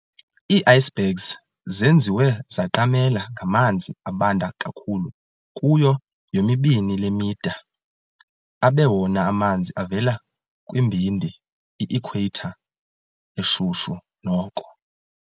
ii-Icebergs zenziwe zaqamela ngamanzi abanda kakhulu kuyo yomibini le mida, abe wona amanzi avela kumbindi i-equator eshushu noko.